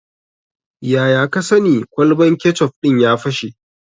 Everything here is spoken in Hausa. Yaya ka sani kwalban kecof ɗin ya fashe?